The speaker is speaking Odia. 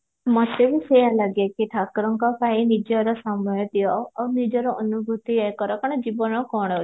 ମତେ ବି ସେଇଆ ଲାଗେ କି ଠାକୁରଙ୍କ ପାଇଁ ନିଜର ସମୟ ଦିଅ ଆଉ ନିଜର ଅନୁଭୂତି ଇଏ କର କାରଣ ଜୀବନ